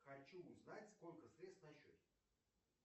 хочу узнать сколько средств на счете